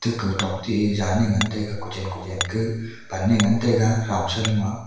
ketok te zyan e ngan taiga kuche kuchen ke pan e ngan taiga ramsalo a.